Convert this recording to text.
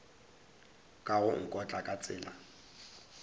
ka go nkotla ka tsela